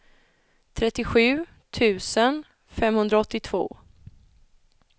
trettiosju tusen femhundraåttiotvå